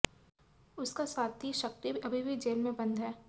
उसका साथी शक्ति अभी भी जेल में बंद है